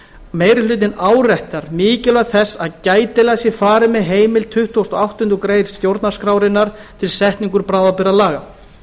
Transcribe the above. meiri hlutinn áréttar mikilvægi þess að gætilega sé farið með heimild tuttugasta og áttundu grein stjórnarskrárinnar til setningar bráðabirgðalaga